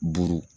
Buru